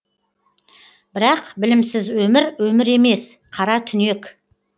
бірақ білімсіз өмір өмір емес қара түнек